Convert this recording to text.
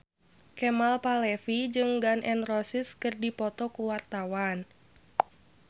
Kemal Palevi jeung Gun N Roses keur dipoto ku wartawan